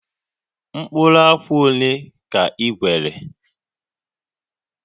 Mkpụrụ akwa ole ka i ghere?